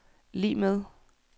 lig med